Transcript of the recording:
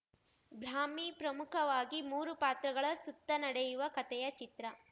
ಬ್ರಾಹ್ಮಿ ಪ್ರಮುಖವಾಗಿ ಮೂರು ಪಾತ್ರಗಳ ಸುತ್ತ ನಡೆಯುವ ಕತೆಯ ಚಿತ್ರ